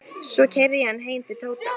Svo keyrði ég hann heim til Tóta.